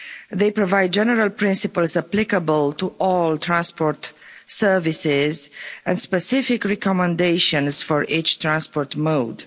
They provide general principles applicable to all transport services and specific recommendations for each transport mode.